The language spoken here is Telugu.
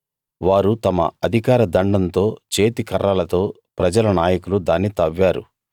వారు తమ అధికార దండంతో చేతికర్రలతో ప్రజల నాయకులు దాన్ని తవ్వారు